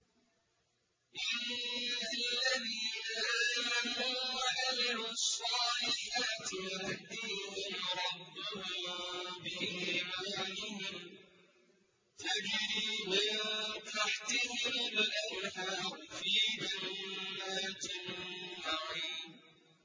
إِنَّ الَّذِينَ آمَنُوا وَعَمِلُوا الصَّالِحَاتِ يَهْدِيهِمْ رَبُّهُم بِإِيمَانِهِمْ ۖ تَجْرِي مِن تَحْتِهِمُ الْأَنْهَارُ فِي جَنَّاتِ النَّعِيمِ